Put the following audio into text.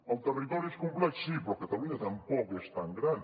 el territori és complex sí però catalunya tampoc és tan gran